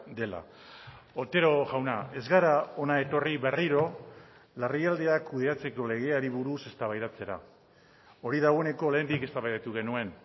dela otero jauna ez gara hona etorri berriro larrialdiak kudeatzeko legeari buruz eztabaidatzera hori dagoeneko lehendik eztabaidatu genuen